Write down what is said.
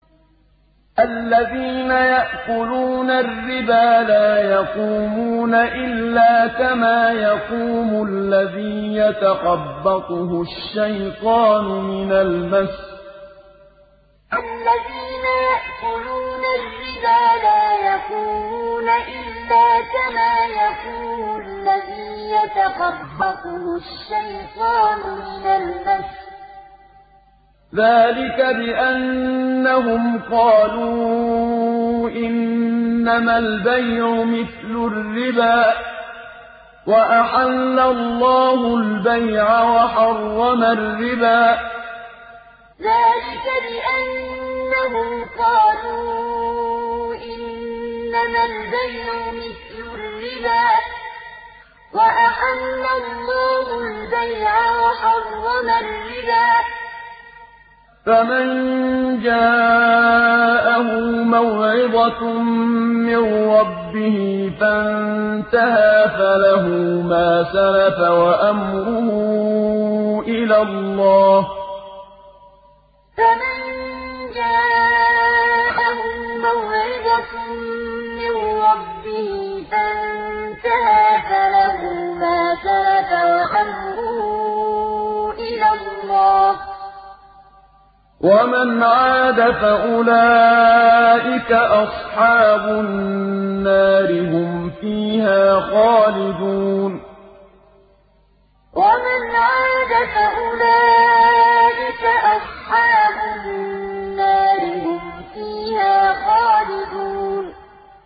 الَّذِينَ يَأْكُلُونَ الرِّبَا لَا يَقُومُونَ إِلَّا كَمَا يَقُومُ الَّذِي يَتَخَبَّطُهُ الشَّيْطَانُ مِنَ الْمَسِّ ۚ ذَٰلِكَ بِأَنَّهُمْ قَالُوا إِنَّمَا الْبَيْعُ مِثْلُ الرِّبَا ۗ وَأَحَلَّ اللَّهُ الْبَيْعَ وَحَرَّمَ الرِّبَا ۚ فَمَن جَاءَهُ مَوْعِظَةٌ مِّن رَّبِّهِ فَانتَهَىٰ فَلَهُ مَا سَلَفَ وَأَمْرُهُ إِلَى اللَّهِ ۖ وَمَنْ عَادَ فَأُولَٰئِكَ أَصْحَابُ النَّارِ ۖ هُمْ فِيهَا خَالِدُونَ الَّذِينَ يَأْكُلُونَ الرِّبَا لَا يَقُومُونَ إِلَّا كَمَا يَقُومُ الَّذِي يَتَخَبَّطُهُ الشَّيْطَانُ مِنَ الْمَسِّ ۚ ذَٰلِكَ بِأَنَّهُمْ قَالُوا إِنَّمَا الْبَيْعُ مِثْلُ الرِّبَا ۗ وَأَحَلَّ اللَّهُ الْبَيْعَ وَحَرَّمَ الرِّبَا ۚ فَمَن جَاءَهُ مَوْعِظَةٌ مِّن رَّبِّهِ فَانتَهَىٰ فَلَهُ مَا سَلَفَ وَأَمْرُهُ إِلَى اللَّهِ ۖ وَمَنْ عَادَ فَأُولَٰئِكَ أَصْحَابُ النَّارِ ۖ هُمْ فِيهَا خَالِدُونَ